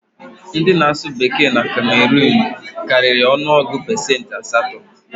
Ndị na-asụ Bekee na Kemeruun karịrị ọnụ ọgụ pesentị asatọ